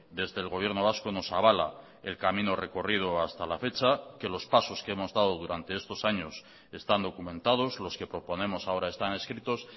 desde el gobierno vasco nos avala el camino recorrido hasta la fecha que los pasos que hemos dado durante estos años están documentados los que proponemos ahora están escritos